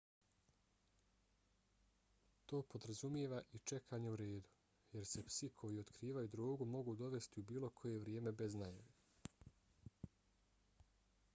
to podrazumijeva i čekanje u redu jer se psi koji otkrivaju drogu mogu dovesti u bilo koje vrijeme bez najave